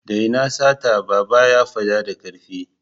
Daina sata! Baba ya fada da karfi.